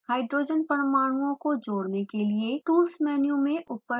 hydrogen परमाणुओं को जोड़ने के लिए tools मेनू में ऊपर से नीचे जाएँ